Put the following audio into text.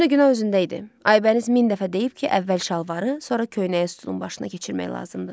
Həm də günah özündə idi, Aybəniz min dəfə deyib ki, əvvəl şalvarı, sonra köynəyi sütunun başına keçirmək lazımdır.